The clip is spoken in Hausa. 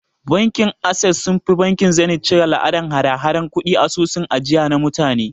Bankin Ases sunfi bankin Zeniz cire la'adan hada hadar kudi a asusun ajiya na mutane